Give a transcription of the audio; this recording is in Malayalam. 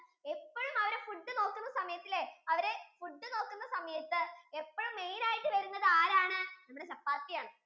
എപ്പോഴും അവര് food നോക്കുന്ന സമയത്തു ഇല്ലേ അവര് food നോക്കുന്ന സമയത്തു ഇപ്പോഴും main ആയിട്ടു വരുന്നത് ആരാണ് chappathi ആണ്